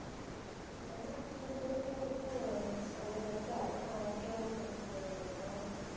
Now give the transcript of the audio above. ஆனா three days ங்குறது அது first உ அதுக்கு அவங்க okay வான்னு first உ கேக்கணும் ஏன்னா